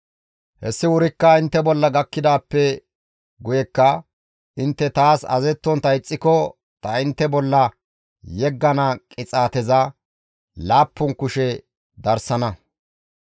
« ‹Hessi wurikka intte bolla gakkidaappe guyekka intte taas azazettontta ixxiko ta intte bolla yeggana qixaateza laappun kushe darsana.